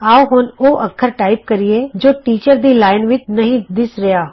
ਆਉ ਹੁਣ ਉਹ ਅੱਖਰ ਟਾਈਪ ਕਰੀਏ ਜੋ ਟੀਚਰ ਦੀ ਲਾਈਨ ਵਿਚ ਨਹੀਂ ਦਿੱਸ ਰਿਹਾ